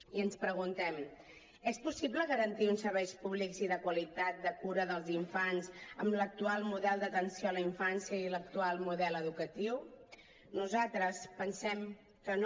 i ens preguntem és possible garantir uns serveis públics i de qualitat de cura dels infants amb l’actual model d’atenció a la infància i l’actual model educatiu nosaltres pensem que no